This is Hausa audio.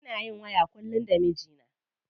Ina yin waya kullum da mijina.